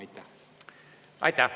Aitäh!